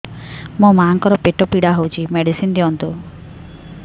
ମୋ ମାଆଙ୍କର ପେଟ ପୀଡା ହଉଛି ମେଡିସିନ ଦିଅନ୍ତୁ